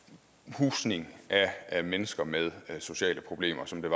husning af mennesker med sociale problemer som man